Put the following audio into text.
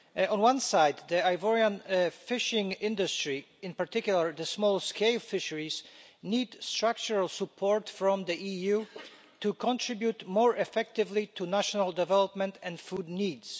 On one side, the Ivorian fishing industry, in particular the small scale fisheries, need structural support from the EU to contribute more effectively to national development and food needs.